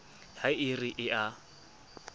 ha e re e a